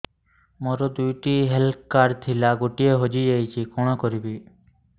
ମୋର ଦୁଇଟି health card ଥିଲା ଗୋଟିଏ ହଜି ଯାଇଛି କଣ କରିବି